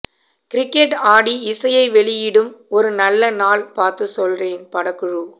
cricket ஆடி இசையை வெளியிடும் ஒரு நல்ல நாள் பாத்து சொல்றேன் படக்குழு